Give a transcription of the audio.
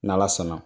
N' ala sɔnna